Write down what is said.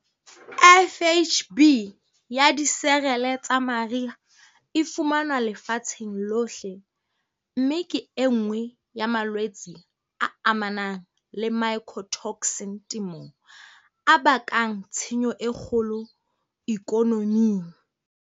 FHB ya diserele tsa mariha e fumanwa lefatshenng lohle, mme ke e nngwe ya malwetse a amanang le mycotoxin temong, a bakang tshenyo e kgolo ikonoming.